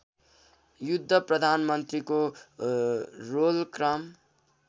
युद्ध प्रधानमन्त्रीको रोलक्रम